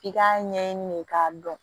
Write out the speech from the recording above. F'i k'a ɲɛɲini de k'a dɔn